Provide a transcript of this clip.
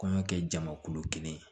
Kɔɲɔ kɛ jamakulu kelen